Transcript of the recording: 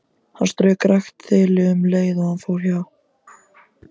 Hann strauk rakt þilið um leið og hann fór hjá.